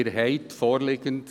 Um es transparent zu machen: